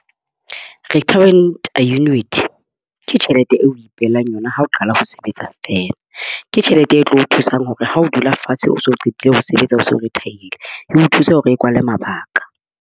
Restaurant Unit ke tjhelete eo o ipehelang yona ha o qala ho sebetsa feela. Ke tjhelete e tlo o thusang hore ha o dula fatshe o so qetile ho sebetsa, so retir-hile e o thuse hore o kwale mabaka.